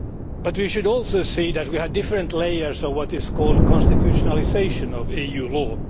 But we should also see that we had different layers of what is called the constitutionalisation of EU law.